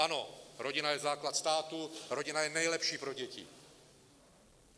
Ano, rodina je základ státu, rodina je nejlepší pro děti.